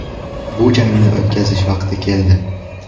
Bu jangni o‘tkazish vaqti keldi.